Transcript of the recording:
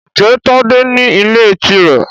Ǹjẹ́ Tádé ní ilé tirẹ?